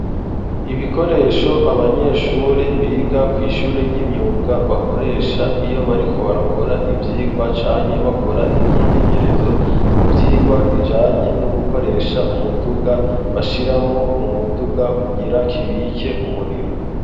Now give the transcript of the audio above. Ibikoresho abanyeshuri biga kw'ishuri y'imyuga bakoresha iyo ariko barakora ivyigwa canke bakora imyimenyerezo, mu vyigwa bijanye no gukoresha umuduga bashiramwo mu muduga kugira kibike umuriro.